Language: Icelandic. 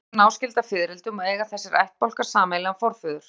vorflugur eru náskyldar fiðrildum og eiga þessir ættbálkar sameiginlegan forföður